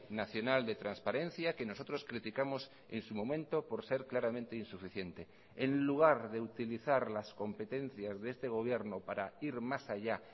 nacional de transparencia que nosotros criticamos en su momento por ser claramente insuficiente en lugar de utilizar las competencias de este gobierno para ir más allá